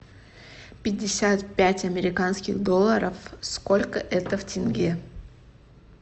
пятьдесят пять американских долларов сколько это в тенге